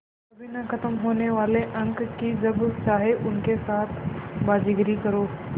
कभी न ख़त्म होने वाले अंक कि जब चाहे उनके साथ बाज़ीगरी करो